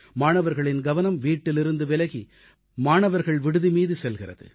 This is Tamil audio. மாணவர்களின் கவனம் வீட்டிலிருந்து விலகி மாணவர்கள் விடுதிமீது செல்கிறது